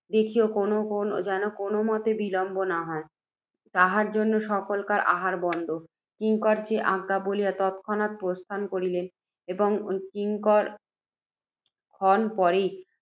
দেখিও, যেন কোনও মতে বিলম্ব না হয়, তাঁহার জন্যে সকলকার আহার বন্ধ। কিঙ্কর, যে আজ্ঞা বলিয়া, তৎক্ষণাৎ প্রস্থান করিল, এবং কিয়ৎ ক্ষণ পরেই